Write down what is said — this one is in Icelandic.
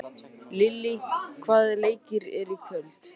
Lillý, hvaða leikir eru í kvöld?